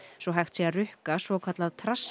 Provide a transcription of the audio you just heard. svo hægt sé að rukka svokallað